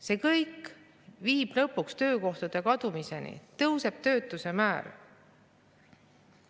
See kõik viib lõpuks töökohtade kadumiseni, tõuseb töötuse määr.